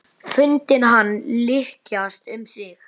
Fundið hann lykjast um sig.